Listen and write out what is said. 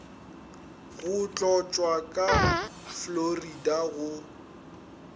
go tlotšwa ka fluoride go